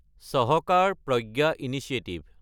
Sahakar Pragya initiative